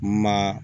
Ma